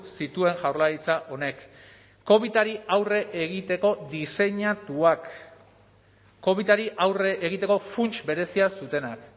zituen jaurlaritza honek covidari aurre egiteko diseinatuak covidari aurre egiteko funts berezia zutenak